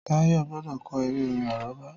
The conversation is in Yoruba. Táyọ̀ gbọ́dọ̀ ko eré-orin àrọ́bá